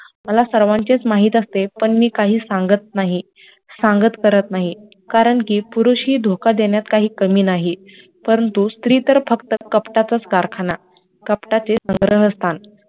मला सर्वांचे माहित असते पण मी काही सांगत नाही, सांगत परत नाही कारणकि पुरुषही धोका देण्यात काही कमी नाहीत, परंतु स्त्री तर फक्त कपटाचाच कारखाना, कपाटाचे स्थान